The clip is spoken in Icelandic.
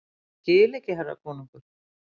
Ég skil ekki herra konungur!